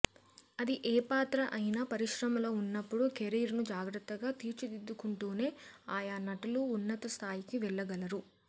అది ఏ పాత్ర అయినా పరిశ్రమలో వున్నపుడు కెరీర్ను జాగ్రత్తగా తీర్చిదిద్దుకుంటూనే ఆయా నటులు ఉన్నత స్థాయికి వెళ్ళగలరు